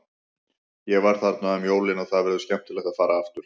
Ég var þarna um jólin og það verður skemmtilegt að fara aftur.